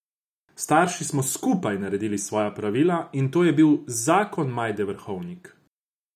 S starši smo skupaj naredili svoja pravila in to je bil zakon Majde Vrhovnik.